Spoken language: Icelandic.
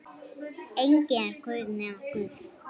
Enginn er guð nema Guð.